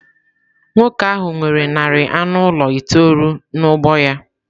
Nwoke ahụ nwere narị anụ ụlọ itoolu n’ugbo ya.